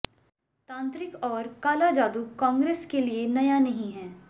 तांत्रिक और काला जादू कांग्रेस के लिए नया नहीं है